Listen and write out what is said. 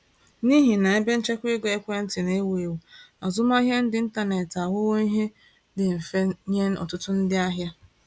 N’ihi na ebenchekwaego ekwentị na-ewu ewu, azụmahịa n’ịntanetị aghọwo ihe dị mfe nye ọtụtụ ndị ahịa.